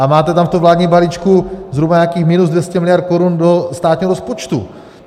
A máte tam v tom vládním balíčku zhruba nějakých minus 200 miliard korun do státního rozpočtu.